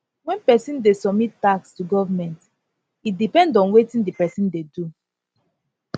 when person dey submit tax to government e depend on wetin di person dey do